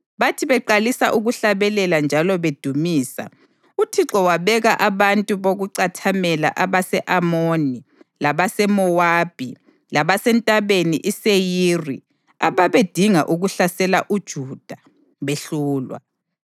Bathi beqalisa ukuhlabelela njalo bedumisa, uThixo wabeka abantu bokucathamela abase-Amoni labase-Mowabi labaseNtabeni iSeyiri ababedinga ukuhlasela uJuda, behlulwa.